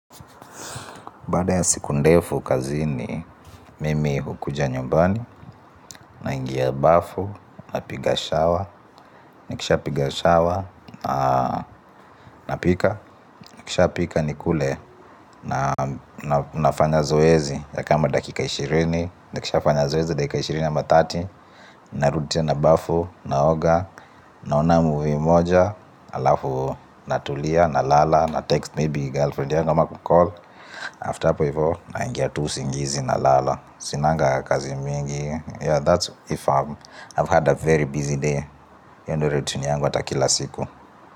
Baada ya siku ndefu kazini mimi hukuja nyumbani, naingia bafu, napiga shower, nikishapiga shower, napika, nikisha pika nikule na nafanya zoezi ya kama dakika ishirini, nikishafanya zoezi dakika ishirini ama thelathini, narudi tena bafu, naoga, naona movie moja, alafu natulia, nalala, natext maybe girlfriend yangu ama kucall, after hapo hivyo, naingia tu usingizi nalala. Sinanga kazi mingi yeah that's if I've had a very busy day hiyo ndo routine yangu hata kila siku.